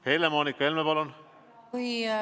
Helle-Moonika Helme, palun!